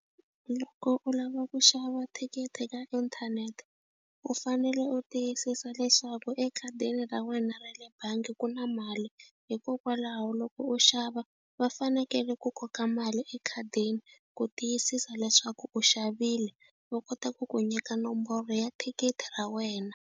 Loko u lava ku xava thikithi ka inthanete u fanele u tiyisisa leswaku ekhadini ra wena ra le bangi ku na mali hikokwalaho loko u xava va fanekele ku koka mali ekhadini ku tiyisisa leswaku u xavile va kota ku ku nyika nomboro ya thikithi ra wena.